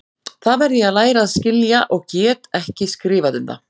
Það verð ég að læra að skilja og get ekki skrifað um það.